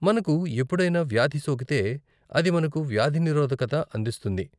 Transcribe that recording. మనకు ఎప్పుడైనా వ్యాధి సోకితే, అది మనకు వ్యాధినిరోధకత అందిస్తుంది